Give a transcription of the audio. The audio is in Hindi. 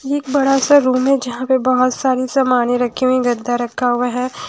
ये एक बड़ा सा रूम है जहाँ पे बहुत सारी सामाने रखी हुई गद्दा रखा हुआ है ।